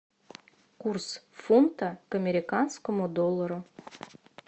курс фунта к американскому доллару